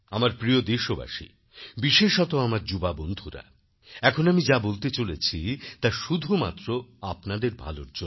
আমার প্রিয় দেশবাসী বিশেষত আমার যুববন্ধুরা এখন আমি যা বলতে চলেছি তা শুধুমাত্র আপনাদের ভালোর জন্য